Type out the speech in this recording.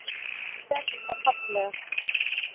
Og gerðu það fallega.